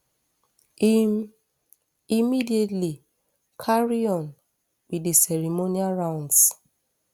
im immediately carry on wit di ceremonial rounds